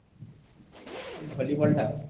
Volleyball ଟା?